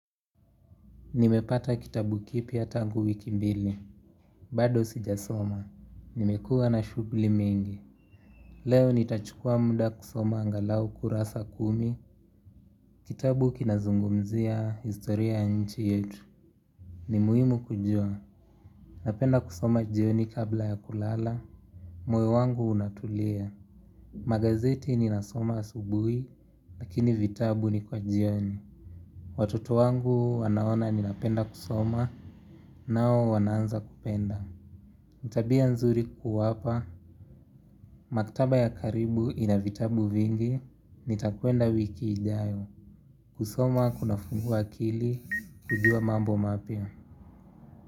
Nimepata kitabu kipia tangu wiki mbili. Bado sijasoma. Nimekua na shugli mingi. Leo nitachukua munda kusoma angalau kurasa kumi. Kitabu kinazungumzia historia ya nchi yetu. Nimuhimu kujua. Napenda kusoma jioni kabla ya kulala. Moyo wangu unatulia. Magazeti ninasoma asubuhi. Lakini vitabu ni kwa jioni. Watoto wangu wanaona ninapenda kusoma nao wanaanza kupenda. Nitabia nzuri kuwapa, maktaba ya karibu ina vitabu vingi, nitakwenda wiki ijayo, kusoma kuna funguwa akili, kujuwa mambo mapya.